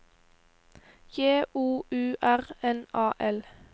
J O U R N A L